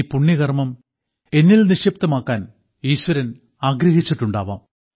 ഈ പുണ്യകർമ്മം എന്നിൽ നിക്ഷിപ്തമാക്കാൻ ഈശ്വരൻ ആഗ്രഹിച്ചിട്ടുണ്ടാവാം